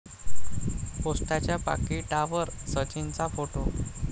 पोस्टाच्या पाकिटावर सचिनचा फोटो!